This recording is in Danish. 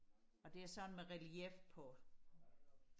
og det er sådan med relief på